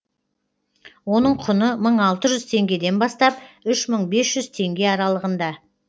оның құны мың алты жүз теңгеден бастап үш мың бес жүз теңге аралығында